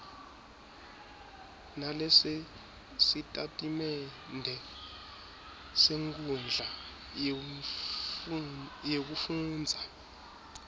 nalesositatimende senkhundla yekufundza